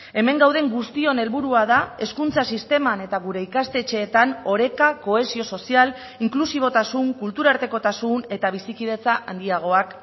hemen gauden guztion helburua da hezkuntza sisteman eta gure ikastetxeetan oreka kohesio sozial inklusibotasun kulturartekotasun eta bizikidetza handiagoak